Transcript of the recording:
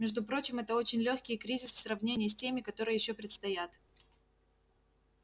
между прочим это очень лёгкий кризис в сравнении с теми которые ещё предстоят